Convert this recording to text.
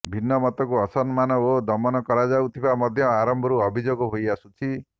ଭିନ୍ନମତକୁ ଅସମ୍ମାନ ଓ ଦମନ କରାଯାଉଥିବା ମଧ୍ୟ ଆରମ୍ଭରୁ ଅଭିଯୋଗ ହୋଇଆସୁଛି